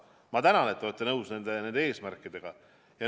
Aga ma tänan, et te olete nõus nende eesmärkidega.